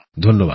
ধন্যবাদ